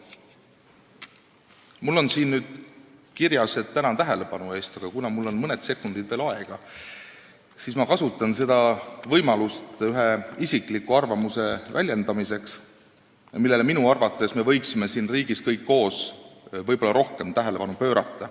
Mul on nüüd siin kirjas, et tänan tähelepanu eest, aga kuna mul on mõni sekund veel aega, siis ma kasutan võimalust isikliku arvamuse väljendamiseks selle kohta, millele me minu arvates võiksime siin riigis kõik koos võib-olla rohkem tähelepanu pöörata.